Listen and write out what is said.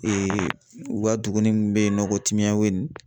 u ka duguni min bɛ yen nɔ ko Timiyaweni